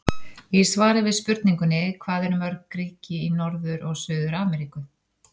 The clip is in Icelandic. Í svari við spurningunni Hvað eru mörg ríki í Norður- og Suður-Ameríku?